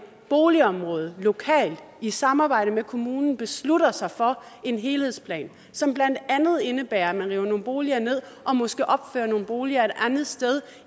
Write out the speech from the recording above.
boligområde lokalt i samarbejde med kommunen beslutter sig for en helhedsplan som blandt andet indebærer at man river nogle boliger ned og måske opfører nogle boliger et andet sted